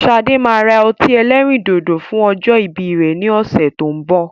Sade máa ra ọtí ẹlẹ́rìndòdò fún ọjọ́ ìbí rẹ ni ọ̀sẹ̀ tó ń bọ̀